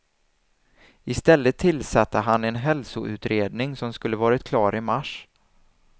I stället tillsatte han en hälsoutredning som skulle varit klar i mars.